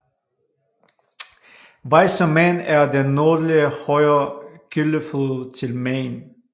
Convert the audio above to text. Weißer Main er den nordlige højre kildeflod til Main